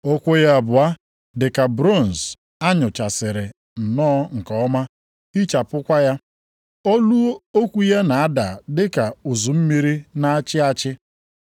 Ụkwụ ya abụọ dị ka bronz a nụchasịrị nnọọ nke ọma hichapụkwa ya. Olu okwu ya na-ada dị ka ụzụ mmiri na-achị achị.